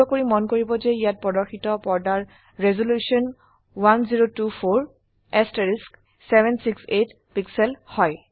অনুগ্ৰহ কৰি মন কৰিব যে ইয়াত প্ৰদৰ্শিত পৰ্দাৰ ৰেজল্যুশন 1024768 পিক্সেল হয়